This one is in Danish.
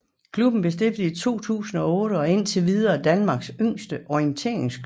Klubben blev stiftet i 2008 og er indtil videre Danmarks yngste orienteringsklub